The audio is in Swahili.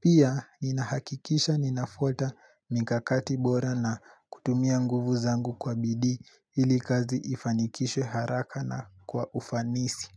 Pia ninahakikisha ninafuata mikakati bora na kutumia nguvu zangu kwa bidii ili kazi ifanikishwe haraka na kwa ufanisi.